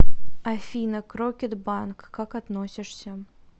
афина к рокетбанк как относишься